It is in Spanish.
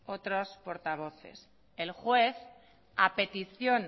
otros portavoces el juez a petición